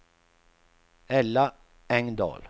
Ella Engdahl